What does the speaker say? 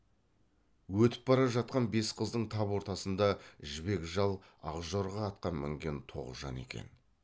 өтіп бара жатқан бес қыздың тап ортасында жібек жал ақ жорға атқа мінген тоғжан екен